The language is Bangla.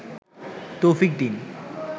তৌফিক দিন